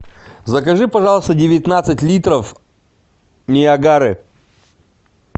закажи пожалуйста девятнадцать литров ниагары